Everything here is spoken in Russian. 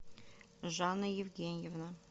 жанна евгеньевна